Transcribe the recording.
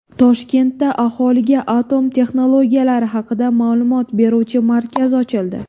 Toshkentda aholiga atom texnologiyalari haqida ma’lumot beruvchi markaz ochildi .